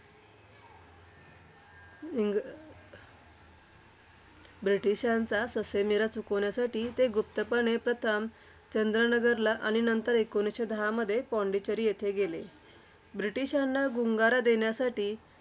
इंग्र ब्रिटिशांचा ससेमिरा चुकविण्यासाठी ते गुप्तपणे प्रथम चंद्रनगरला आणि नंतर एकोणीसशे दहामध्ये पॉंडिचेरी येथे गेले. ब्रिटिशांना गुंगारा देण्यासाठी